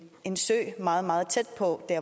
en sø meget tæt på